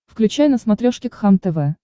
включай на смотрешке кхлм тв